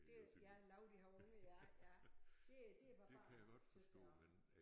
Det ja lau de har unger ja ja det det barbarisk tys jeg også